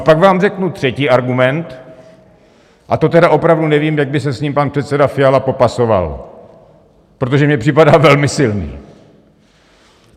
A pak vám řeknu třetí argument, a to tedy opravdu nevím, jak by se s ním pan předseda Fiala popasoval, protože mi připadá velmi silný.